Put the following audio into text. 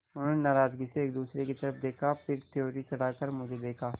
उन्होंने नाराज़गी से एक दूसरे की तरफ़ देखा फिर त्योरी चढ़ाकर मुझे देखा